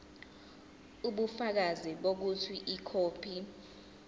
ubufakazi bokuthi ikhophi